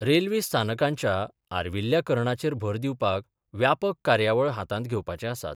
Railway स्थानकांच्या आर्विल्ल्याकरणाचेर भर दिवपाक व्यापक कार्यावळ हातांत घेवपाचे आसात.